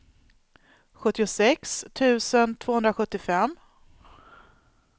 sjuttiosex tusen tvåhundrasjuttiofem